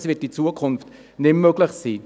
Dies wird in Zukunft nicht mehr möglich sein.